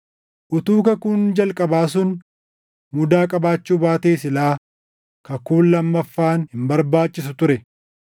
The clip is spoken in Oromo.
Utuu kakuun jalqabaa sun mudaa qabaachuu baatee silaa kakuun lammaffaan hin barbaachisu ture.